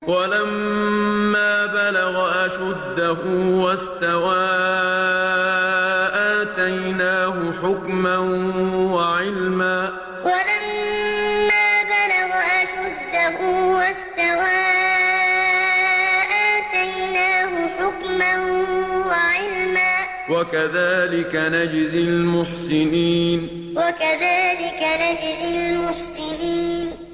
وَلَمَّا بَلَغَ أَشُدَّهُ وَاسْتَوَىٰ آتَيْنَاهُ حُكْمًا وَعِلْمًا ۚ وَكَذَٰلِكَ نَجْزِي الْمُحْسِنِينَ وَلَمَّا بَلَغَ أَشُدَّهُ وَاسْتَوَىٰ آتَيْنَاهُ حُكْمًا وَعِلْمًا ۚ وَكَذَٰلِكَ نَجْزِي الْمُحْسِنِينَ